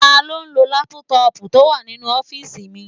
Taló n lo lápútọ̀pù tó wà nínú ọ́fìsì mi?